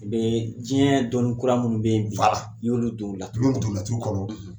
Ni bɛɛ ye diɲɛ dɔnni kura minnu bɛ yen bi, i y'olu don laturu kɔnɔ, n y'olu don laturu kɔnɔ.